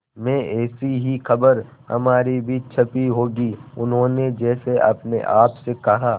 में ऐसी ही खबर हमारी भी छपी होगी उन्होंने जैसे अपने आप से कहा